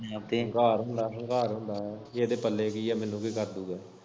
ਹੰਕਾਰ ਹੁੰਦਾ ਹੰਕਾਰ ਹੁੰਦਾ ਪੀ ਏਦੇ ਪੱਲੇ ਕੀ ਐ ਮੈਨੂੰ ਕੀ ਕਰਦੂਗਾਂ।